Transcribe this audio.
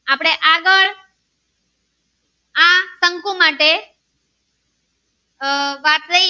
આહ વાત લય.